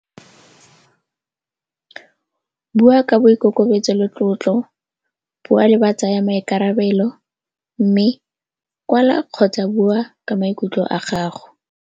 Bua ka boikokobetso le tlotlo, bua le ba tsaya maikarabelo mme kwala kgotsa bua ka maikutlo a gago.